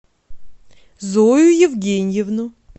зою евгеньевну